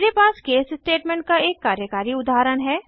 मेरे पास case statement का एक कार्यकारी उदाहरण है